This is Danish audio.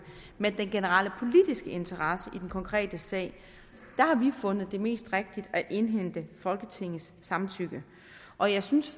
men den generelle politiske interesse i den konkrete sag har vi fundet det mest rigtigt at indhente folketingets samtykke og jeg synes